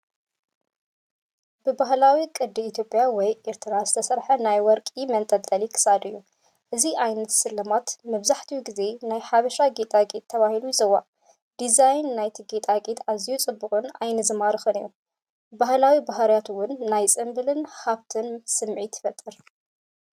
ብባህላዊ ቅዲ ኢትዮጵያ ወይ ኤርትራ ዝስራሕ ናይ ወርቂ መንጠልጠሊ ክሳድ እዩ። እዚ ዓይነት ስልማት መብዛሕትኡ ግዜ "ናይ ሓበሻ ጌጣጌጥ" ተባሂሉ ይጽዋዕ። ዲዛይን ናይቲ ጌጣጌጥ ኣዝዩ ጽቡቕን ዓይኒ ዝማርኽን እዩ። ባህላዊ ባህርያቱ እውን ናይ ጽምብልን ሃብትን ስምዒት ይፈጥር።